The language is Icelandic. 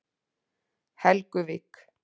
Helguvík